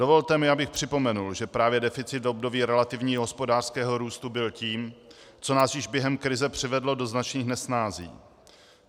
Dovolte mi, abych připomenul, že právě deficit v období relativního hospodářského růstu byl tím, co nás již během krize přivedlo do značných nesnází.